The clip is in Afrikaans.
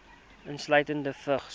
insluitende vigs